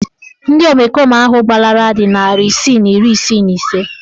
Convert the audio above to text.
Ndị omekome ahụ gbalara dị narị isii na iri isii na ise